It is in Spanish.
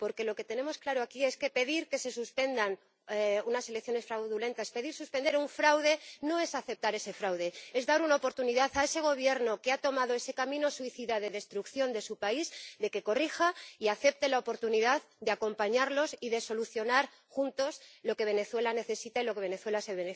Porque lo que tenemos claro aquí es que pedir que se suspendan unas elecciones fraudulentas, pedir suspender un fraude, no es aceptar ese fraude, es dar una oportunidad a ese gobierno que ha tomado ese camino suicida de destrucción de su país para que corrija y acepte la oportunidad de acompañarlos y de solucionar juntos lo que Venezuela necesita y lo que Venezuela se